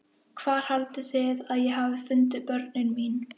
Hvað haldið þið að ég hafi fundið börnin mín?